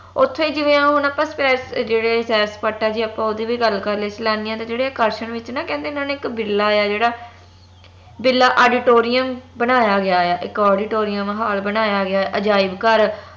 ਓਥੇ ਜਿਵੇ ਹੁਣ ਆਪ ਜਿਹੜੇ ਸੈਰ ਸਪਾਟਾ ਸੀ ਆਪ ਓਦੀ ਵੀ ਗੱਲ ਕਰ ਲਈਏ ਸੈਲਾਨੀਆਂ ਦੇ ਜਿਹੜੇ ਆਕਰਸ਼ਣ ਵਿਚ ਨਾ ਕਹਿੰਦੇ ਇਨਾ ਨੇ ਇਕ ਬਿੜਲਾ ਆ ਜਿਹੜਾ ਬਿੜਲਾ auditorium ਬਨਾਯਾ ਗਯਾ ਆ ਇਕ auditorium hall ਬਨਾਯਾ ਗਿਆ ਆ ਅਜਾਯਬਘਰ